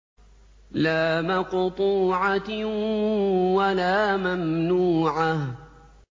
لَّا مَقْطُوعَةٍ وَلَا مَمْنُوعَةٍ